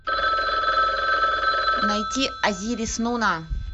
найти азирис нуна